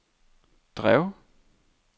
drev